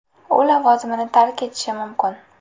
U lavozimini tark etishi mumkin.